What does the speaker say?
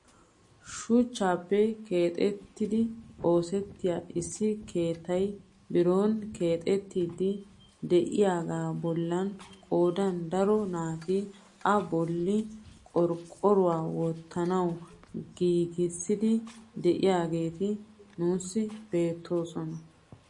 Shuchchaappe giigidi oosettiyaa issi keettay biron keexettiidi de'iyaagaa bollan qoodan daro naati a bolli qorqqoruwaa wottanawu giigissiidi de'iyaageti nuusi beettoosona.